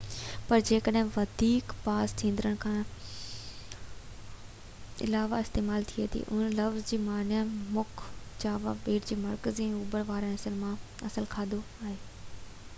پر ، جيڪڏهن وڌيڪ پاس ٿيندڙن کان علاوه استعمال ٿئي ٿي، ته انهي لفظ جي معني مک جاوا ٻيٽ جي مرڪزي ۽ اوڀر واري حصن مان اصل کاڌو آهي